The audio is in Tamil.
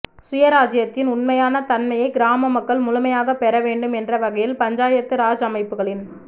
சுயராஜ்யத்தின் உண்மையான தன்மையை கிராம மக்கள் முழுமையாகப் பெற வேண்டும் என்ற வகையில் பஞ்சாயத்து ராஜ் அமைப்புகளின்